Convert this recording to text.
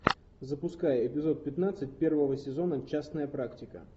запуская эпизод пятнадцать первого сезона частная практика